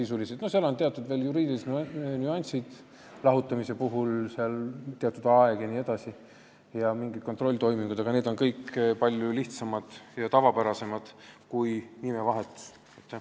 Seal on veel teatud juriidilised nüansid ja mingid kontrolltoimingud, aga need kõik on palju lihtsamad ja tavapärasemad kui nime vahetamisel.